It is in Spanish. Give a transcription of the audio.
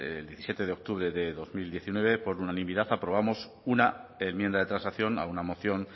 el diecisiete de octubre de dos mil diecinueve por unanimidad aprobamos una enmienda de transacción a una moción